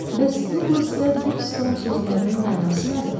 Bəs Duqlas və Birston sözlərinin mənası nədir?